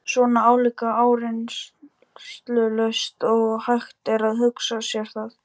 Svona álíka áreynslulaust og hægt er að hugsa sér það.